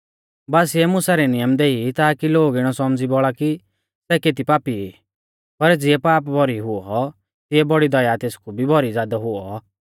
बासीऐ मुसा रै नियम देई ताकी लोग इणौ सौमझ़ी बौल़ा कि सै केती पापी ई पर ज़िऐ पाप भौरी हुऔ तिऐ बौड़ी दया तेसकु भी भौरी ज़ादौ हुऔ